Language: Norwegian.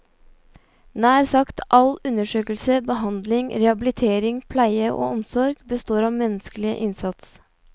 Nær sagt all undersøkelse, behandling, rehabilitering, pleie og omsorg består av menneskelig innsats.